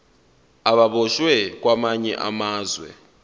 ababoshwe kwamanye amazwe